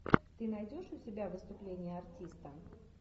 ты найдешь у себя выступление артиста